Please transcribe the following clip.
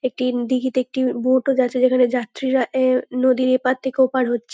একটি দিঘিতে একটি ব বোট -ও যাচ্ছে যেখানে যাত্রীরা আহ নদীর এপাড় থেকে ওপাড় হচ্ছে।